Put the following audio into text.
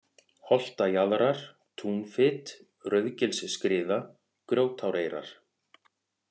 Holtajaðrar, Túnfit, Rauðsgilsskriða, Grjótáreyrar